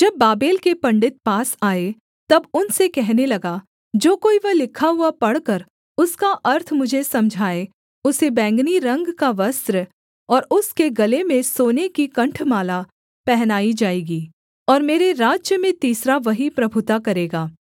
जब बाबेल के पंडित पास आए तब उनसे कहने लगा जो कोई वह लिखा हुआ पढ़कर उसका अर्थ मुझे समझाए उसे बैंगनी रंग का वस्त्र और उसके गले में सोने की कण्ठमाला पहनाई जाएगी और मेरे राज्य में तीसरा वही प्रभुता करेगा